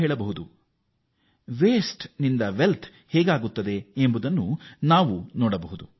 ನಾವು ತ್ಯಾಜ್ಯವನ್ನು ಸಂಪತ್ತಾಗಿ ಪರಿವರ್ತಿಸುವುದನ್ನು ಸ್ಪಷ್ಟವಾಗಿ ನೋಡಿದ್ದೇವೆ